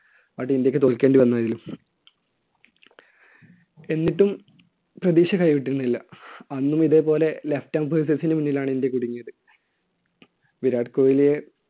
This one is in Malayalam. but ഇന്ത്യയ്ക്ക് തോൽക്കേണ്ടി വന്നു അതിൽ. എന്നിട്ടും പ്രതീക്ഷ കൈവിട്ടിരുന്നില്ല. അന്നും ഇതേപോലെ left നു മുന്നിലാണ് ഇന്ത്യ കുടുങ്ങിയത്. വിരാട് കോഹ്‌ലിയെ